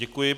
Děkuji.